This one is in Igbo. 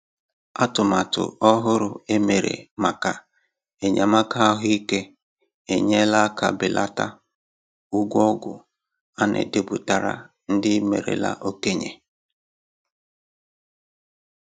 Atụmatụ ọhụrụ e mere maka enyémàkà ahụ́ íké enyela aka belata ụgwọ ọgwụ a na-edepụtara ndị merela okenye